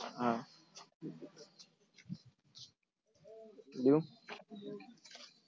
हा.